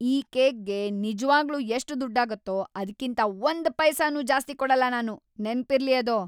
ಈ ಕೇಕ್‌ಗೆ ನಿಜ್ವಾಗ್ಲೂ ಎಷ್ಟ್‌ ದುಡ್ಡಾಗತ್ತೋ ಅದ್ಕಿಂತ ಒಂದ್‌ ಪೈಸೆನೂ ಜಾಸ್ತಿ ಕೊಡಲ್ಲ ನಾನು! ನೆನ್ಪಿರ್ಲಿ ಅದು!